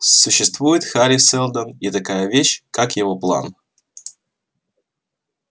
существует хари сэлдон и такая вещь как его план